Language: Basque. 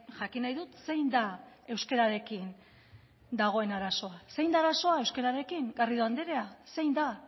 jakin nahi dut zein da euskararekin dagoen arazoa zein da arazoa euskararekin garrido andrea zein da